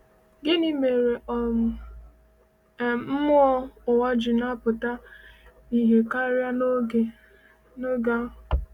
Gịnị mere um mmụọ ụwa ji na-apụta ìhè karị n’oge um a?